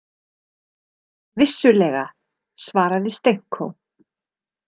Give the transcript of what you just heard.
Vissulega, svaraði Stenko.